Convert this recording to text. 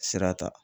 Sira ta